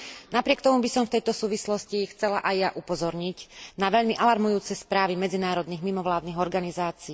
Napriek tomu by som v tejto súvislosti chcela aj ja upozorniť na veľmi alarmujúce správy medzinárodných mimovládnych organizácií.